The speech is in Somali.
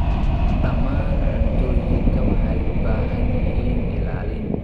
Dhammaan cuntooyinka waxay u baahan yihiin ilaalin.